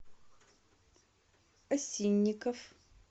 осинников